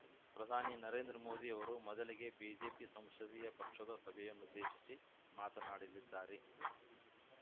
ಪ್ರಧಾನಿ ನರೇಂದ್ರ ಮೋದಿ ಅವರು ಮೊದಲಿಗೆ ಬಿಜೆಪಿ ಸಂಸದೀಯ ಪಕ್ಷದ ಸಭೆಯನ್ನುದ್ದೇಶಿಸಿ ಮಾತನಾಡಲಿದ್ದಾರೆ